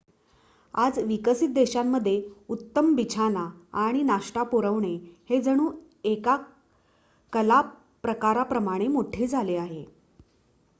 आज विकसित देशांमध्ये उत्तम बिछाना आणि नाश्ता पुरवणे हे जणू एका कला प्रकाराप्रमाणे मोठे झाले आहे